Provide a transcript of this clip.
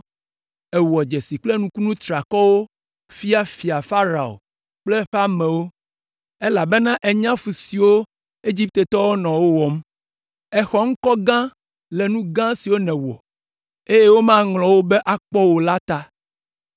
Èwɔ dzesi kple nukunu triakɔwo fia Fia Farao kple eƒe amewo, elabena ènya fu siwo Egiptetɔwo nɔ wo wɔm. Èxɔ ŋkɔ gã le nu gã siwo nèwɔ, eye womaŋlɔ wo be akpɔ o la ta.